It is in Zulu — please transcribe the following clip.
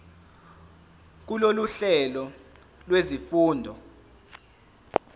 kulolu hlelo lwezifundo